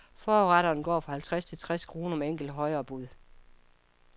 Forretterne går for halvtreds til tres kroner med enkelte højere bud.